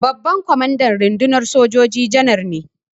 Babban kwamandan rundunar sojoji Janar ne.